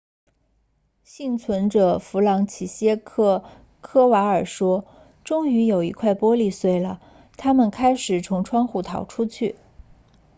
幸存者弗朗齐歇克科瓦尔说终于有一块玻璃碎了他们开始从窗户逃出去